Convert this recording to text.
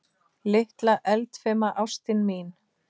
Litla eldfima ástin mín.